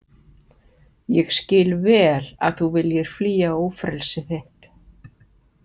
Ég skil vel að þú viljir flýja ófrelsi þitt.